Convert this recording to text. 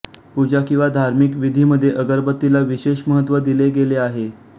पूजा किंवा धार्मिक विधीमध्ये अगरबत्तीला विशेष महत्त्व दिले गेले आहे